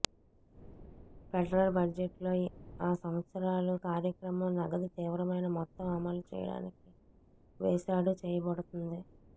federal budget లో ఆ సంవత్సరాలు కార్యక్రమం నగదు తీవ్రమైన మొత్తం అమలు చేయడానికి వేశాడు చేయబడుతుంది